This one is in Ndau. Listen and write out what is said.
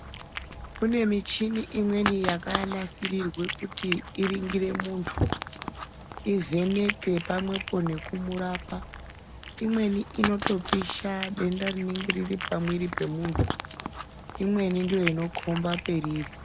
Kune michini imweni yakanasirirwe kuti iringire muntu ivheneke pamwepo nekumurapo nekumurapa imweni inotopisha denda rinenge riripamwiri pemuntu imweni ndoinokhomba periri.